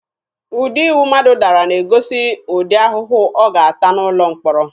Ụdị iwu mmadụ dara ga-egosi ụdị ahụhụ ọ ga-ata n'ụlọ mkpọrọ.